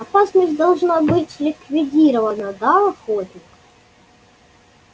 опасность должна быть ликвидирована да охотник